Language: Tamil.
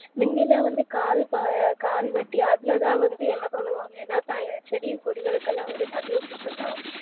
முந்திலாம் வந்து கான் வப்பாங்க கான் வக்கிலா அதுல்லாம் வந்து என்ன பண்ணுவங்கனா செடி கொடிகளுக்குலாம் வந்து தண்ணி வச்சுட்டு இருந்தாங்க